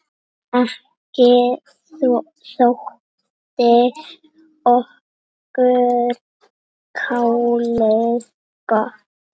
Ekki þótti okkur kálið gott.